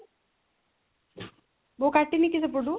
ବୋଉ କାଟି ନି କି ସେପଟୁ?